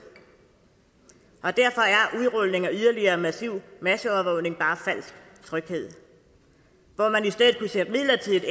derfor af yderligere massiv masseovervågning bare falsk tryghed hvor man kunne sætte midlertidigt